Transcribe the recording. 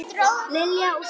Lilja og Stefán.